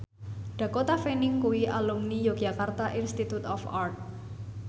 Dakota Fanning kuwi alumni Yogyakarta Institute of Art